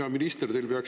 Hea minister!